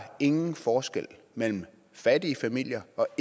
ingen forskel mellem fattige familier og